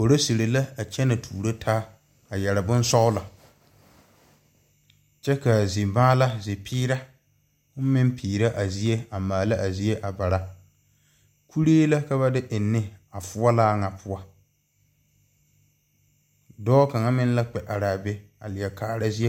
Policeri la a kyene tuuro taa a yeri bunsɔglo kye ka a zi maala zi peɛre meng peɛre a zie a maala a zie a bara kuree la ka ba de enni a fuolaa nga puo doɔ kang meng la kpe arẽ a be a leɛ kaara zeɛ.